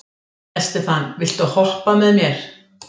Estefan, viltu hoppa með mér?